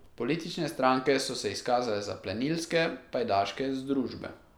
Politične stranke so se izkazale za plenilske pajdaške združbe.